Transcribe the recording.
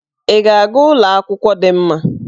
Ị ga-aga ụlọ akwụkwọ dị mma?